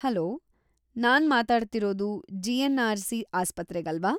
Hello! ನಾನ್ ಮಾತಾಡ್ತಿರೋದು GNRC. ಆಸ್ಪತ್ರೆಗಲ್ವಾ?